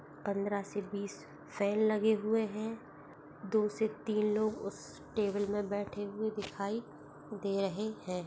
पंद्रह से बीस फैन लगे हुए हैं दो से तीन लोग उस टेबल मे बैठे हुए दिखाई दे--